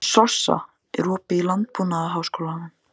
Sossa, er opið í Landbúnaðarháskólanum?